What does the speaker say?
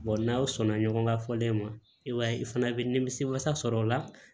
n'aw sɔnna ɲɔgɔn ka fɔlen ma i b'a ye i fana bi nimisi wasa sɔrɔ o la